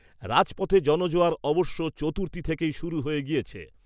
রাজপথে জনজোয়ার অবশ্য চতুর্থী থেকেই শুরু হয়ে গেছে।